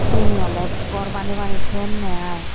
sini ole gor baney baney thoyunne aai.